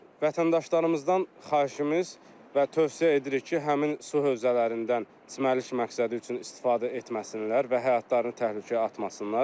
vətəndaşlarımızdan xahişimiz və tövsiyə edirik ki, həmin su hövzələrindən çimərlik məqsədi üçün istifadə etməsinlər və həyatlarını təhlükəyə atmasınlar.